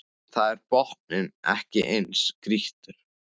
Þar er botninn ekki eins grýttur